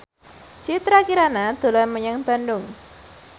Citra Kirana dolan menyang Bandung